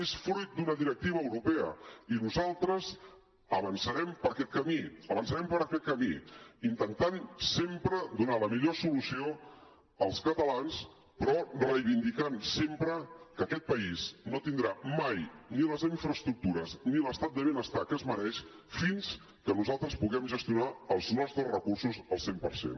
és fruit d’una directiva europea i nosaltres avançarem per aquest camí avançarem per aquest camí intentant sempre donar la millor solució als catalans però reivindicant sempre que aquest país no tindrà mai ni les infraestructures ni l’estat de benestar que es mereix fins que nosaltres puguem gestionar els nostres recursos al cent per cent